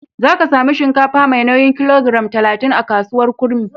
Za ka sami shinkafa mai nauyin kilogiram talatin a kasuwar Kurmi.